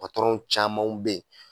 Patɔrɔnw camanw bɛ yen